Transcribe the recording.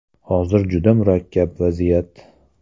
Hozir juda murakkab vaziyat.